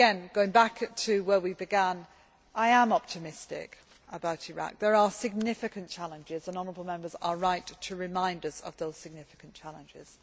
Going back to where we began, I am optimistic about Iraq. There are significant challenges, and honourable Members are right to remind us of those significant challenges.